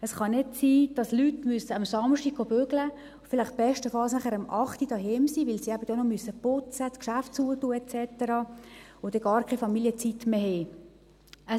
Es kann nicht sein, dass Leute am Samstag arbeiten gehen müssen, vielleicht bestenfalls nachher um 20 Uhr zu Hause sind, weil sie dann eben noch putzen und das Geschäft schliessen müssen, und dann gar keine Familienzeit mehr haben.